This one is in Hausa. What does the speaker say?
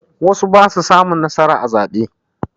Wasu ba su samun nasara a zaɓe.